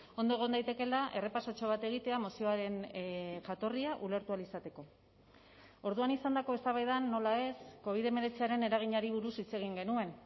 ondo egon daitekeela errepasotxo bat egitea mozioaren jatorria ulertu ahal izateko orduan izandako eztabaidan nola ez covid hemeretziaren eraginari buruz hitz egin genuen